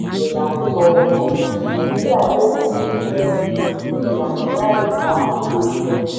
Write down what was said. abdul-bojela sọ: nàìjíríà lè pèsè iṣẹ́; kò sí ìlànà láì dá ilé iṣẹ́.